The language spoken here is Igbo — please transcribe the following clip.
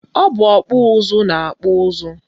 Ọ bụ ọkpụ ụzụ na-akpụ ụzụ